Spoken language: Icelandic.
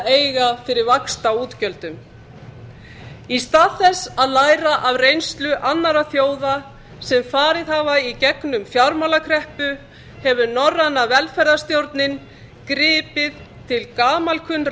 eiga fyrir vaxtaútgjöldum í stað þess að læra af reynslu annarra þjóða sem farið hafa í gegnum fjármálakreppu hefur norræna velferðarstjórnin gripið til gamalkunnra